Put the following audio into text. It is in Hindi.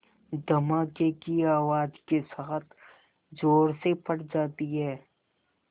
धमाके की आवाज़ के साथ ज़ोर से फट जाती है